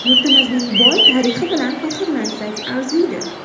Yurtimizning boy tarixi bilan faxrlansak arziydi.